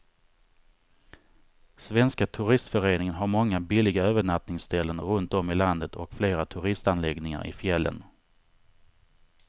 Svenska turistföreningen har många billiga övernattningsställen runt om i landet och flera turistanläggningar i fjällen.